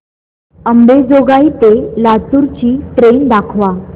अंबेजोगाई ते लातूर ची ट्रेन दाखवा